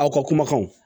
Aw ka kumakanw